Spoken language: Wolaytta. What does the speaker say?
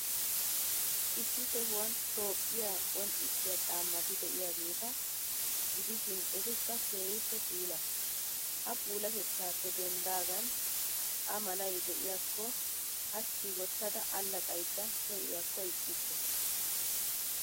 Issi sohuwan Toophphiyaa qonccissiyaa caammati de'iyaageeta gidishin, etikka keehippe puula. Ha puulaatettaappe denddidaagan A malay de'iyaakko hachchi wottada allaxxaydda pee'iyakko ixxikke.